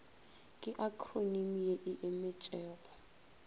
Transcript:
ke akhronimi ye e emetšego